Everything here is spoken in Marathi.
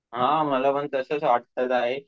हा मला पण तसं वाटत आहे.